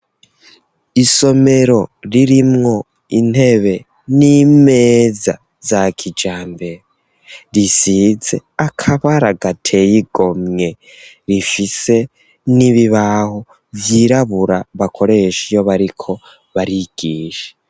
Isomero ririmwo intebe n'imeza za kijambere risize akabara gateye igomwe rifise n'ibibaho vyirabura bakoresha iyo bariko barigisha.